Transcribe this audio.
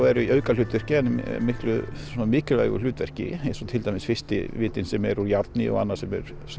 eru í aukahlutverki en svona mikilvægu hlutverki eins og til dæmis fyrsti vitinn sem er úr járni og annar sem er